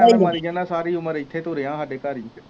ਸਾਰੀ ਉਮਰ ਇਥੇ ਤੂੰ ਰੇਹਾਂ ਸਾਡੇ ਘਰ ਹੀ